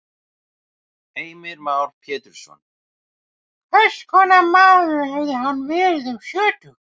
Heimir Már Pétursson: Hvers konar maður hefði hann verið um sjötugt?